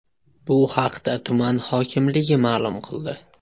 Bu haqda tuman hokimligi ma’lum qildi.